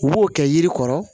U b'o kɛ yiri kɔrɔ